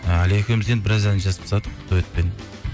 і әлия екеуіміз енді біраз ән жазып тастадық дуэтпен